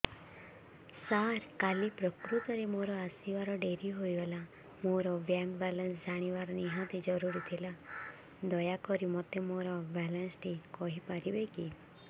ସାର କାଲି ପ୍ରକୃତରେ ମୋର ଆସିବା ଡେରି ହେଇଗଲା ମୋର ବ୍ୟାଙ୍କ ବାଲାନ୍ସ ଜାଣିବା ନିହାତି ଜରୁରୀ ଥିଲା ଦୟାକରି ମୋତେ ମୋର ବାଲାନ୍ସ ଟି କହିପାରିବେକି